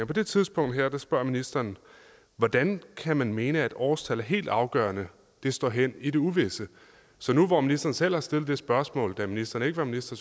på det tidspunkt her spørger ministeren hvordan kan man mene at årstal er helt afgørende det står hen i det uvisse så nu hvor ministeren selv har stillet det spørgsmål da ministeren ikke var minister